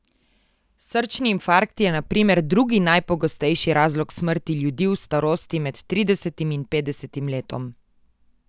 Srčni infarkt je na primer drugi najpogostejši razlog smrti ljudi v starosti med tridesetim in petdesetim letom.